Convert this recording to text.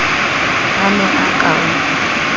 a ne a ka o